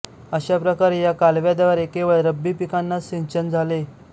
अशा प्रकारे या कालव्याद्वारे केवळ रब्बी पिकांनाच सिंचन झाले